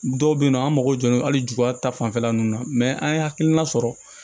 Dɔw bɛ yen nɔ an mago bɛ jɔ hali juguya ta fanfɛla ninnu na an ye hakilina sɔrɔ